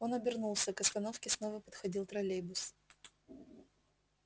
он обернулся к остановке снова подходил троллейбус